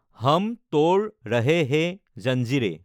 হম তোড় ৰহে হে জঞ্জীৰে,